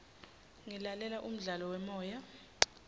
ngilalela umdlalo wemoya